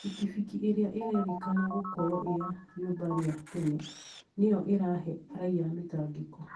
Bikibiki ĩrĩa ĩrerĩkana gũkorwo ĩya rĩũmba rĩa tene, nĩyo ĩrahe raia mĩtangĩko